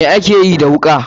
Me akeyi da wuka.